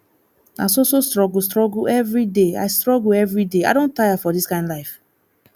na so so struggle struggle everyday i struggle everyday i don tire for dis kind life